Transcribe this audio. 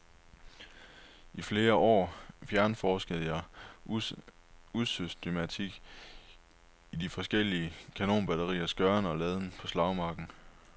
I flere år fjernforskede jeg usystematisk i de forskellige kanonbatteriers gøren og laden på slagmarken.